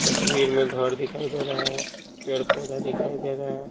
तस्वीर में घर दिखाई दे रहा है पेड़-पौधा दिखाई दे रहा है।